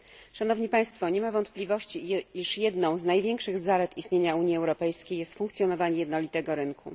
Szanowni Państwo! Nie ma wątpliwości, iż jedną z największych zalet istnienia Unii Europejskiej jest funkcjonowanie jednolitego rynku.